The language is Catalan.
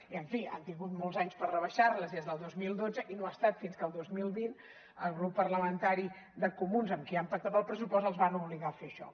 i en fi han tingut molts anys per rebaixar les des del dos mil dotze i no ha estat fins que el dos mil vint el grup parlamentari de comuns amb qui han pactat el pressupost els van obligar a fer això